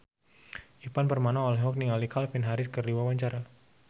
Ivan Permana olohok ningali Calvin Harris keur diwawancara